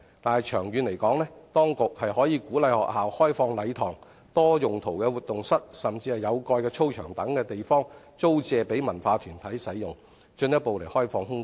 但是，長遠而言，當局應鼓勵學校開放禮堂、多用途活動室或有蓋操場等地方，租借予文化藝術團體使用，進一步開放空間。